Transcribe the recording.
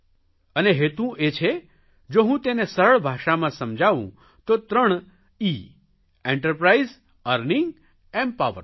અને હેતું એ છે જો હું તેને સરળ ભાષામાં સમજાવું તો ત્રણ ઇએન્ટરપ્રાઇઝ અર્નિંગ એમ્પાવરમેન્ટ